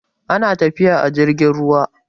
ana tafiya a jirgin ruwa